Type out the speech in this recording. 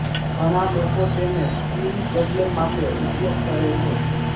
ઘણા લોકો તેને સ્કીન પ્રોબ્લેમ માટે ઉપયોગ કરે છે